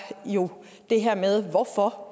jo det her med hvorfor